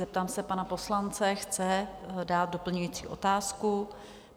Zeptám se pana poslance... chce dát doplňující otázku.